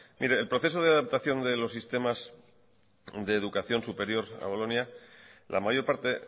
mire el proceso de adaptación de los sistemas de educación superior a bolonia la mayor parte